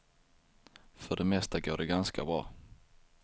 För det mesta går det ganska bra.